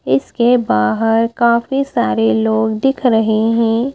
इसके बाहर काफी सारे लोग दिख रहे हैं।